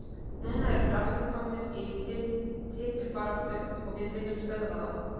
Núna eru þeir aftur komnir í titilbaráttu og við viljum stöðva þá.